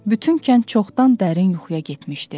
Bütün kənd çoxdan dərin yuxuya getmişdi.